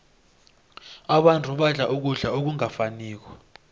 abantu badla ukudla okungafaniko